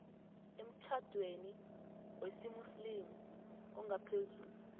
emtjhadweni wesimuslimu ongaphezu